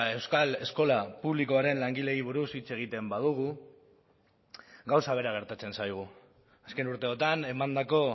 euskal eskola publikoaren langileei buruz hitz egiten badugu gauza bera gertatzen zaigu azken urteotan emandako